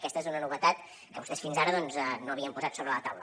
aquesta és una novetat que vostès fins ara doncs no havien posat sobre la taula